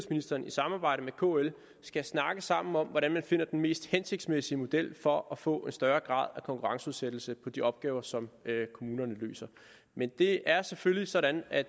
kl skal snakke sammen om hvordan man finder den mest hensigtsmæssige model for at få en større grad af konkurrenceudsættelse på de opgaver som kommunerne løser men det er selvfølgelig sådan at